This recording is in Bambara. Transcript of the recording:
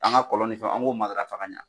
An ka kɔlɔn ni fɛ an ko matarafa ka ɲɛ.